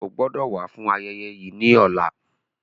O gbọdọ wa fun ayẹyẹ ni ọla.